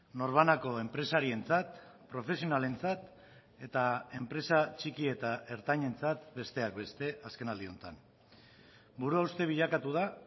norbanako enpresarientzat profesionalentzat eta enpresa txiki eta ertainentzat besteak beste azkenaldi honetan buruhauste bilakatu da